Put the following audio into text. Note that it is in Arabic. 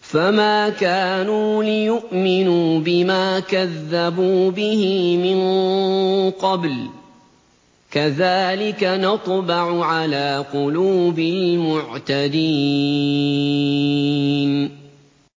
فَمَا كَانُوا لِيُؤْمِنُوا بِمَا كَذَّبُوا بِهِ مِن قَبْلُ ۚ كَذَٰلِكَ نَطْبَعُ عَلَىٰ قُلُوبِ الْمُعْتَدِينَ